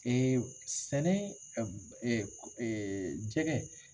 Ɛɛ sɛnɛ jɛgɛ